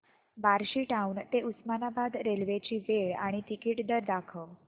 Barshi town ते Osmanabad railway ची वेळ आणि तिकीट दर दाखव